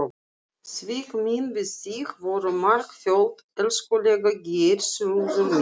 Svik mín við þig voru margföld, elskulega Geirþrúður mín.